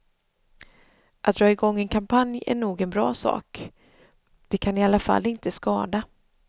Att dra igång en kampanj är nog en bra sak, det kan i alla fall inte skada.